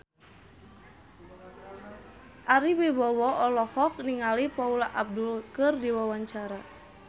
Ari Wibowo olohok ningali Paula Abdul keur diwawancara